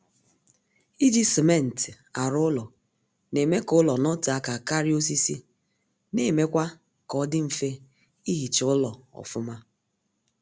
Iji simentị arụ ụlọ na-eme ka ụlọ notee aka karịa osisi na-emekwa kaọdị mfe ihicha ụlọ ọfụma